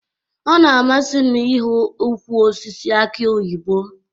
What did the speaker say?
Ọ na-amasị m ị hụ ukwụ osisi aki oyibo